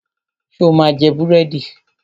Ṣo ma jẹ búrẹ́dì?